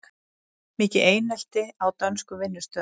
Mikið einelti á dönskum vinnustöðum